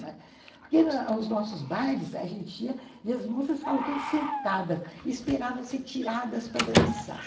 Porque nos nossos bailes, a gente ia e as moças ficavam todas sentadas e esperavam ser tiradas para dançar.